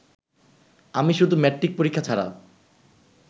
আমি শুধু মেট্রিক পরীক্ষা ছাড়া